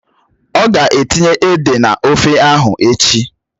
Ọ̀ ga etinye ede n'ofe ahụ echi